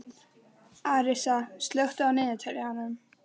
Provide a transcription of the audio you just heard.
Arisa, slökktu á niðurteljaranum.